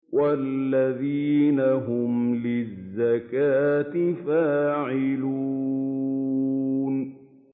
وَالَّذِينَ هُمْ لِلزَّكَاةِ فَاعِلُونَ